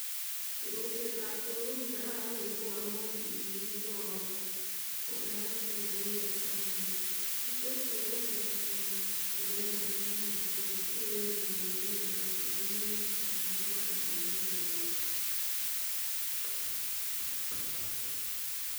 Temishetab geny ko kikarara missing amu kitomo koyakitun ngungunyek ako kii kirurtos minutik en ruret nemi barak missing kosir en inguni yekikeboishen ngungunyek kotagai komokotinye kelgin neo